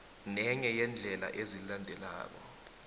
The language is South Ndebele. nenye yeendlela ezilandelako